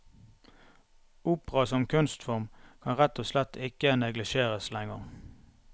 Opera som kunstform kan rett og slett ikke neglisjeres lenger.